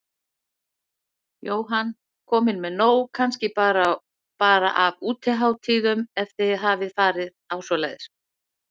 Jóhann: Komin með nóg kannski bara af útihátíðum, ef þið hafið farið á svoleiðis?